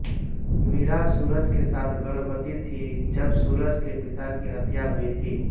मीरा सूरज के साथ गर्भवति थी जब सुरज के पिता की हत्या हुई थी